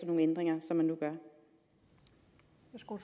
nogle ændringer som man nu gør